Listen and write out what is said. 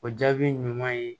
O jaabi ɲuman ye